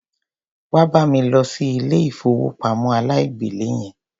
Wá bá mi lọ sí ilé ìfowópamọ́ aláìgbèlé yẹn.